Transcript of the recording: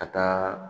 Ka taa